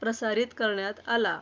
प्रसारित करण्यात आला.